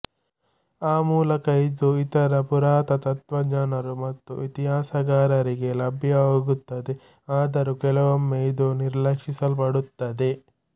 ಆ ಮೂಲಕ ಇದು ಇತರ ಪುರಾತತ್ತ್ವಜ್ಞರು ಮತ್ತು ಇತಿಹಾಸಕಾರರಿಗೆ ಲಭ್ಯವಾಗುತ್ತದೆ ಆದರೂ ಕೆಲವೊಮ್ಮೆ ಇದು ನಿರ್ಲಕ್ಷಿಸಲ್ಪಡುತ್ತದೆ